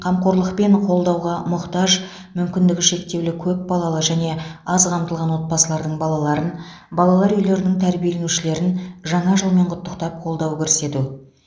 қамқорлық пен қолдауға мұқтаж мүмкіндігі шектеулі көпбалалы және аз қамтылған отбасылардың балаларын балалар үйлерінің тәрбиеленушілерін жаңа жылмен құттықтап қолдау көрсету